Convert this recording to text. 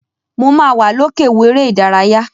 Mo ma wa l'oke wo èrè ìdárayá.